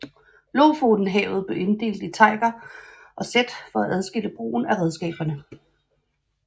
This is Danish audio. Lofotenhavet blev inddelt i teiger og sæt for for at adskille brugen af redskaberne